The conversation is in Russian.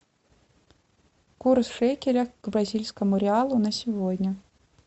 курс шекеля к бразильскому реалу на сегодня